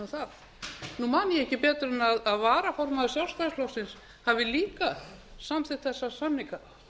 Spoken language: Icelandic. það nú man ég ekki betur en varaformaður sjálfstæðisflokksins hafi líka samþykkt þessa samninga